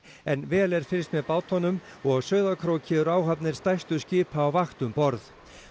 en vel er fylgst með bátunum og á Sauðárkróki eru áhafnir stærstu skipa á vakt um borð